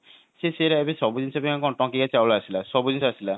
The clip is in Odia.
ସେ ସେଇଗୁଡା ଏବେ ସବୁ ଜିନିଷ ପାଇଁ ଏବେ କଣ ଟଙ୍କିକିଆ ଚାଉଳ ଆସିଲା ସବୁ ଜିନିଷ ଆସିଲା